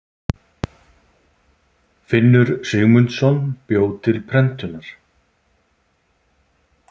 Finnur Sigmundsson bjó til prentunar.